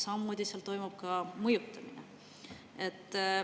Samamoodi toimub seal ka mõjutamine.